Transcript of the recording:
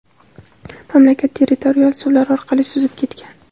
mamlakat territorial suvlar orqali suzib ketgan.